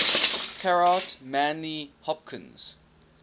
gerard manley hopkins